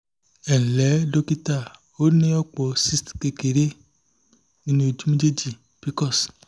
ẹ ǹlẹ́ dókítà o ní ọ̀pọ̀ cysts kékeré nínú ojú méjèèjì pcos